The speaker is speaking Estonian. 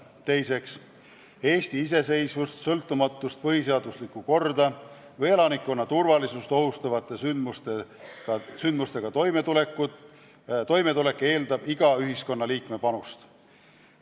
Teiseks, Eesti iseseisvust, sõltumatust, põhiseaduslikku korda või elanikkonna turvalisust ohustavate sündmustega toimetulek eeldab iga ühiskonnaliikme panust.